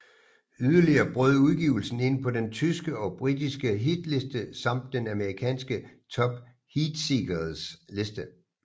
Yderligere brød udgivelsen ind på den tyske og britiske hitliste samt den amerikanske Top Heatseekers liste